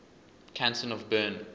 canton of bern